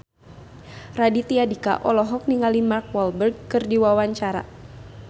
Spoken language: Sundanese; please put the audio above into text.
Raditya Dika olohok ningali Mark Walberg keur diwawancara